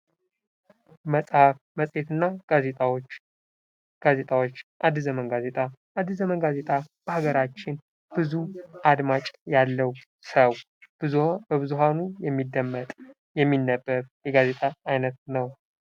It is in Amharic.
መጽሐፍ ፣መጽሄትና ጋዜጣዎች ፦ጋዜጣዎች አዲስ ዘመን ጋዜጣ ፦አዲስ ዘመን ጋዜጣ በሀገራችን ብዙ አድማጭ ያለው ሰው ብዙ በብዙሃኑ የሚደመጥ የሚነበብ የጋዜጣ አይነት ነው።